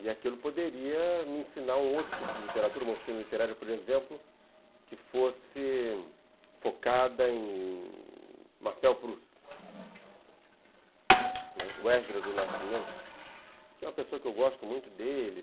E aquilo poderia me ensinar um outro tipo de literatura, uma oficina literária, por exemplo, que fosse focada em Marcel Proust, o Esdras do Nascimento, que é uma pessoa que eu gosto muito dele.